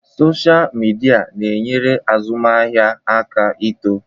Sọsha mịdia na-enyere azụmaahịa aka ịto eto.